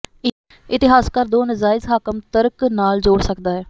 ਇਤਿਹਾਸਕਾਰ ਦੋ ਨਜਾਇਜ਼ ਹਾਕਮ ਤਰਕ ਨਾਲ ਜੋੜ ਸਕਦਾ ਹੈ